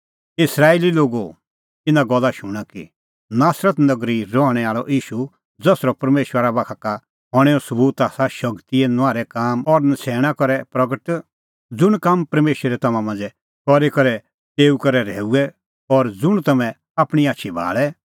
हे इस्राएली लोगो इना गल्ला शूणां कि नासरत नगरी रहणैं आल़अ ईशू ज़सरअ परमेशरा बाखा का हणें सबूत आसा शगतीए नुआहरै काम और नछ़ैणां करे प्रगट ज़ुंण काम परमेशरै तम्हां मांझ़ै करी तेऊ करै रहैऊऐ और ज़ुंण तम्हैं आपणीं आछी भाल़ै